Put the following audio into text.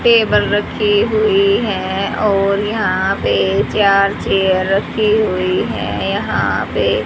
Table रखी हुई है और यहां पे चार चेयर रखी हुई है यहां पे।